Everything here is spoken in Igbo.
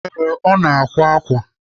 Ee, ọ na-akwa ákwà.